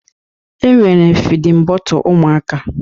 E nwere fidin bọtle ụmụaka.